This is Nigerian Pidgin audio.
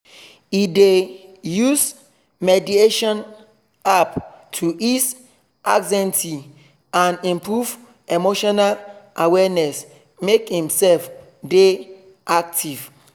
he dey use mediation app to ease anxiety and improve emotional awareness make himself dey active